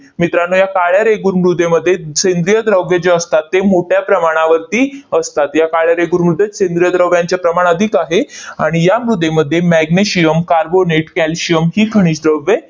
मित्रांनो, या काळ्या रेगूर मृदेमध्ये सेंद्रिय द्रव्ये जे असतात, ते मोठ्या प्रमाणावरती असतात. या काळ्या रेगूर मृदेत सेंद्रिय द्रव्यांचे प्रमाण अधिक आहे. आणि या मृदेमध्ये magnesium, carbonate, calcium ही खनिज द्रव्ये